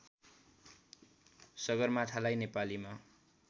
सगरमाथालाई नेपालीमा